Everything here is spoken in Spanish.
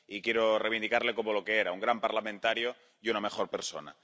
Y quiero reivindicarle como lo que era un gran parlamentario y una mejor persona.